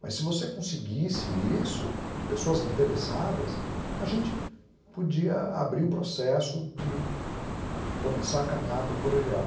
Mas se você conseguisse isso, de pessoas interessadas, a gente podia abrir o processo de começar a caminhar para o colegial.